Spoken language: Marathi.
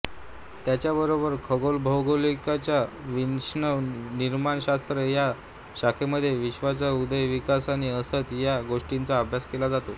त्याचबरोबर खगोलभौतिकीच्या विश्वनिर्माणशास्त्र या शाखेमध्ये विश्वाचा उदय विकास आणि अस्त या गोष्टींचा अभ्यास केला जातो